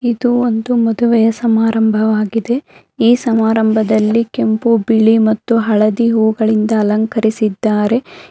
ಇದು ಒಂದು ಮದುವೆಯ ಸಮಾರಂಭವಾಗಿದೆ ಈ ಸಮಾರಂಭದಲ್ಲಿ ಕೆಂಪು ಬಿಳಿ ಮತ್ತು ಹಳದಿ ಹೂಗಳಿಂದ ಅಲಂಕರಿಸಿದ್ದಾರೆ.